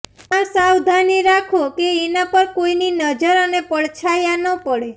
આ સાવધાની રાખો કે એના પર કોઈની નજર અને પડછાયા ન પડે